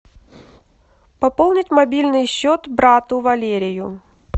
пополнить мобильный счет брату валерию